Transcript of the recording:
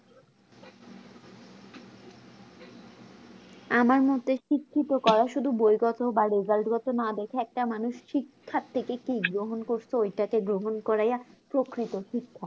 আমার মোতে শিক্ষিত করা শুধু বই গত বা result গত না দেখে একটা মানুষ শিক্ষার থেকে কি গ্রহণ করছে এটাতে গ্রহণ করাইয়া প্রকৃত শিক্ষা